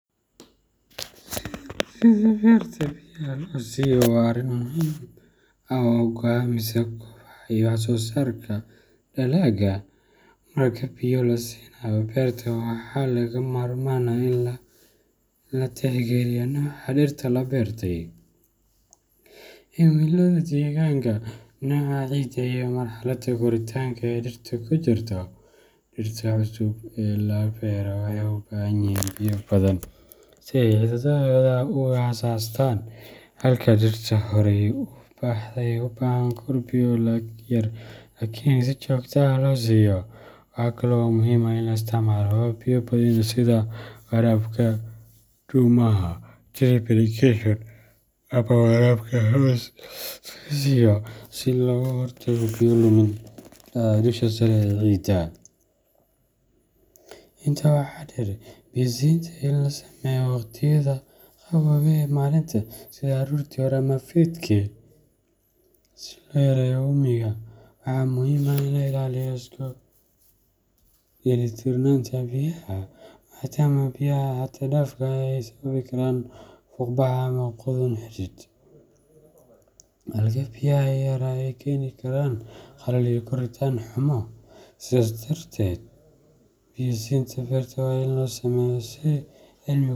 Sidaa berta biyaha loo siiyo waa arrin muhiim ah oo go’aamisa kobaca iyo wax soosaarka dalagga. Marka biyo la siinayo berta, waxaa lagama maarmaan ah in la tixgeliyo nooca dhirta la beertay, cimilada deegaanka, nooca ciidda, iyo marxaladda koritaanka ee dhirtu ku jirto. Dhirta cusub ee la beero waxay u baahan yihiin biyo badan si ay xididdadooda u aasaastaan, halka dhirta horey u baxday ay u baahan karaan biyo yar laakiin si joogto ah loo siiyo. Waxa kale oo muhiim ah in la isticmaalo habab biyo badin ah sida waraabka dhuumaha drip irrigation ama waraabka hoos laga siiyo si looga hortago biyo lumin ka dhacda dusha sare ee ciidda. Intaa waxaa dheer, biyo siinta waa in la sameeyaa waqtiyada qaboobaha ee maalinta, sida aroortii hore ama fiidkii, si loo yareeyo uumiga. Waxaa muhiim ah in la ilaaliyo isku dheelitirnaanta biyaha, maadaama biyaha xad dhaafka ah ay sababi karaan fuuqbax ama qudhun xidid, halka biyaha yaraa ay keeni karaan qalal iyo koritaan xumo. Sidaas darteed, biyo siinta berta waa in loo sameeyaa si cilmi ku.